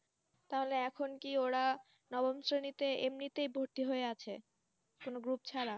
তাহলে এখন কি ওরা নবম শ্রেণীতে এমনিতেই ভর্তি হয়ে আছে কোন Group ছাড়া